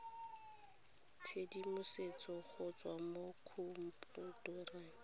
tshedimosetso go tswa mo khomphutareng